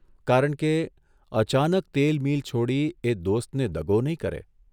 કારણ કે, અચાનક તેલ મીલ છોડી એ દોસ્તને દગો નહીં કરે.